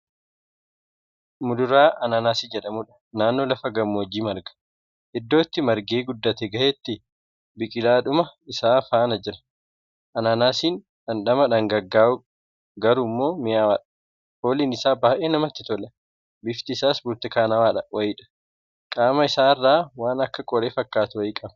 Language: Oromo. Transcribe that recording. Muduraa Ananaasii jedhamudha. Naannoo lafa gammoojjii marga. Iddoo itti margee guddate gahetti biqilaadhuma isaa faana jira. Ananaasiin dhandhama dhangaggaa'u, garuummoo mi'aawudha. Fooliin isaa baay'ee namatti tola. Bifti isaa burtukaanawaa wayiidha. Qaama isaa irraa waan akka qoree fakkaatu wayii qaba.